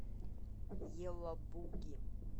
елабуги